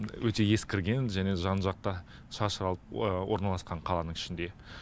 өте ескірген және жан жақты шашырап орналасқан қаланың ішінде